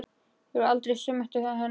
Ég varð aldrei söm eftir þann dag.